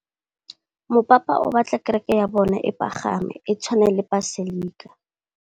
Mopapa o batla kereke ya bone e pagame, e tshwane le paselika.